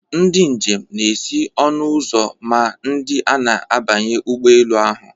Ndị njem na-esi n'ọnụ ụzọ ma ndị a na-abanye ụgbọ elu ahụ.